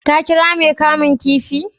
ka kira Mai kamun kifin?